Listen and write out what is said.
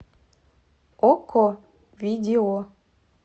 окко видео